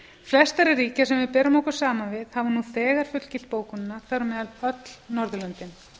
flest þeirra ríkja sem við berum okkur saman við hafa nú þegar fullgilt bókunina þar á meðal öll norðurlöndin